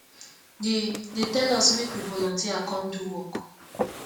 dey dey tell us make we volunteer come do work